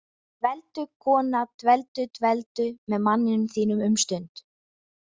Dveldu, kona, dveldu- dveldu með manninum þínum um stund.